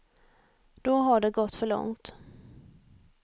Då har det gått för långt.